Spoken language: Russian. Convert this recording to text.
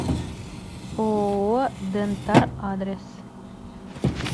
ооо дентар адрес